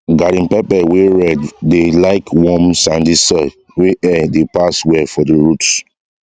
garden pepper wey red dey like warm sandy soil wey air dey pass well for the roots